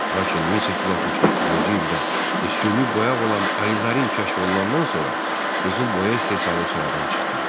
Lakin 1869-cu ildə süni boyaq olan alizarin kəşf olunandan sonra qızılboya istehsalı sıradan çıxdı.